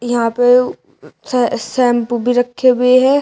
यहां पे शैंपू भी रखे हुए है।